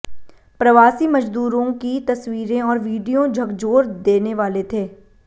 प्रवासी मज़दूरों की तस्वीरें और विडियो झकझोर देने वाले थे